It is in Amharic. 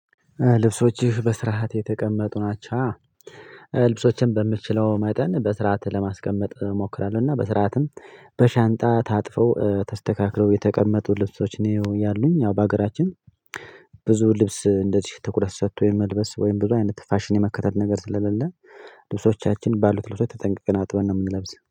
ልብሶችህ በስርዓት የተቀመጡ ናቸው? አዎ ልብሶቼን በምችለው መጠን በስርዓት ለማስቀመጥ እሞክራለሁ እና በስርዓትም በሻንጣ ታጥፈው ተስተካክለው የተቀመጡ ልብሶች ነው ያሉኝ። ያው በሀገራችን ብዙ ልብስ እንደዚህ ትኩረት ሰጥቶኝ መልበስ ወይም ብዙ አይነት ፋሽን የመከታተል ነገር ስለሌለ ልብሶቻችን ባሉት ልብሶች ተጠንቅቀን አጥበን ነው የምንለብሰው።